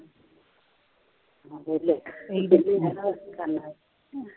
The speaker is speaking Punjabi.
ਵਿਹਲੇ ਤੁਸੀਂ ਕਹਿੰਦੇ